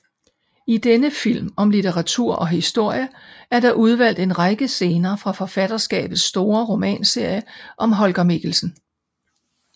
I denne film om litteratur og historie er der udvalgt en række scener fra forfatterskabets store romanserie om Holger Mikkelsen